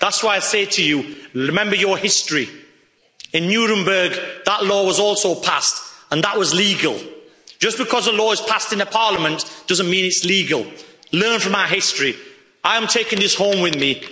up. That's why I say to you, remember your history in Nuremberg, that law was also passed, and that was legal'. Just because a law is passed in a Parliament doesn't mean it is legal. Learn from our history. I am taking his home with